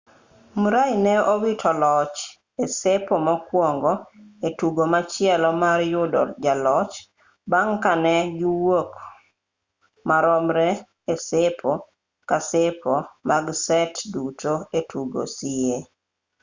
murray ne owito loch e sepo mokuongo e tugo machielo mar yudo jaloch bang' ka ne giwuok maromre e sepo ka sepo mag set duto e tugo sie